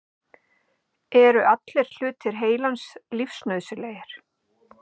Eru allir hlutar heilans lífsnauðsynlegir?